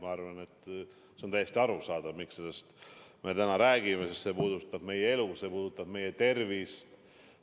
Ma arvan, et on täiesti arusaadav, miks me sellesttäna räägime: see puudutab meie elu, see puudutab meie tervist.